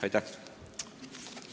Aitäh!